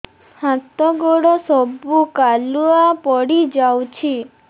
ହାତ ଗୋଡ ସବୁ କାଲୁଆ ପଡି ଯାଉଛି